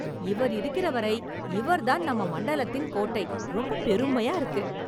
இவர் இருக்கிறவரை இவர்தான் நம்ம மண்டலத்தின் கோட்டை, ரொம்ப பெருமையா இருக்கு